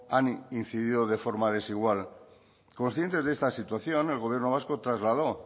han incidido de forma desigual conscientes de esta situación el gobierno vasco trasladó